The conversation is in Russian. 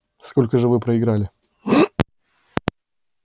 сколько же вы проиграли